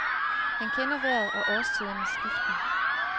Han kender vejret og årstidernes skiften.